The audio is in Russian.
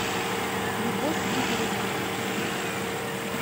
любовь игоревна